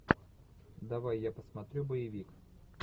давай я посмотрю боевик